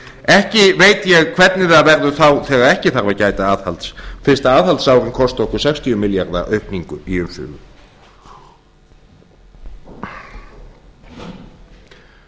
ekki veit ég hvernig það verður þá þegar ekki þarf að gæta aðhalds fyrst aðhaldsárin kosta okkur sextíu milljarða aukningu í